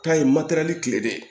K'a ye matɛrɛli kile bɛɛ